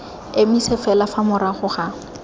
emise fela fa morago ga